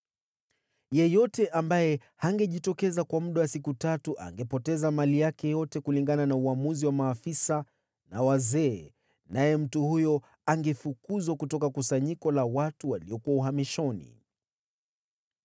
Yeyote ambaye hangejitokeza kwa muda wa siku tatu angepoteza mali yake yote, kulingana na uamuzi wa maafisa na wazee, naye mtu huyo angefukuzwa kutoka kusanyiko la watu waliokuwa uhamishoni.